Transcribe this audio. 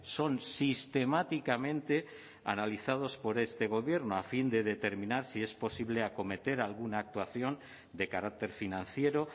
son sistemáticamente analizados por este gobierno a fin de determinar si es posible acometer alguna actuación de carácter financiero